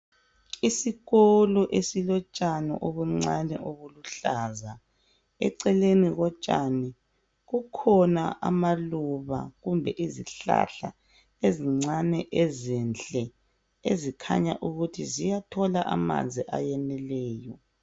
Isikolo esilotshani obuncane obuluhlaza eceleni kotshani kukhona amaluba kumbe izihlahla ezincane ezihle ezikhanya ukuthi ziyathola amanzi ayeneleyo.